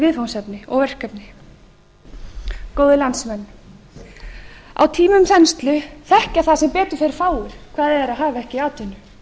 viðfangsefni og verkefni góðir landsmenn á tímum þenslu þekkja það sem betur fer fáir hvað það er að hafa ekki atvinnu